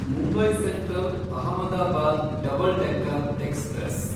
Mumbai central Ahmedabad double decker express